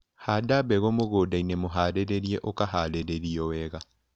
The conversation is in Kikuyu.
Handa mbegũ mũgũndainĩ mũharĩrie ũharĩirio wega.